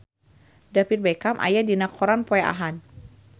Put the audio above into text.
David Beckham aya dina koran poe Ahad